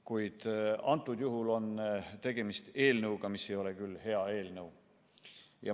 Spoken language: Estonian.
Kuid praegu on tegemist eelnõuga, mis ei ole küll hea eelnõu.